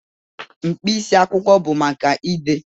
Mkpịsị akwụkwọ bụ maka ide.